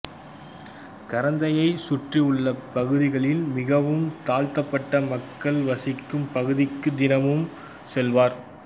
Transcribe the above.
கரந்தையைச் சுற்றியுள்ள பகுதிகளில் மிகவும் தாழ்த்தப்பட்ட மக்கள் வசிக்கும் பகுதிக்கு தினமும் செல்வார்